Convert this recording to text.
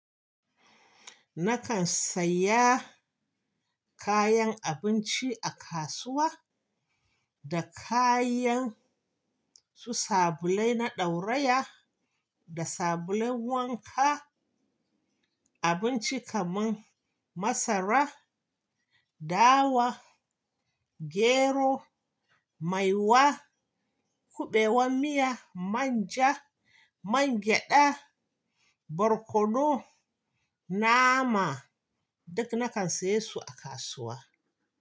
Nakan saya kayan abinci a kasuwa, da kayans u sabulai na ɗauraya da sabulai wanka. Abinci kaman masara, dawa, gero, maiwa, kuɓewan miya, manja, mangyaɗa, barkono, nama duk nakan siye su a kasuwa.